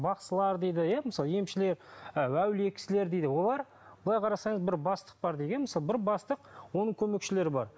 бақсылар дейді иә мысалы емшілер ы әулие кісілер дейді олар былай қарасаңыз бір бастық бар дейік иә мысалы бір бастық оның көмекшілері бар